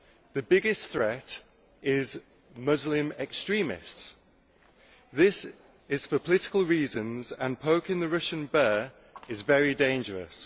The biggest threat is Muslim extremists. This is for political reasons, and poking the Russian bear is very dangerous.